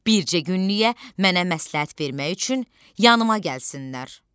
bircə günlük mənə məsləhət vermək üçün yanıma gəlsinlər.